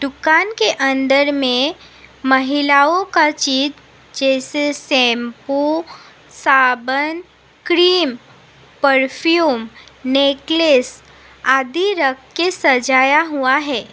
दुकान के अंदर में महिलाओं का चीज जैसे शैंपू साबुन क्रीम परफ्यूम नेकलेस आदि रख के सजाया हुआ है।